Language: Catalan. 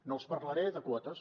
no els parlaré de quotes